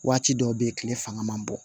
Waati dɔw be yen kile fanga man bon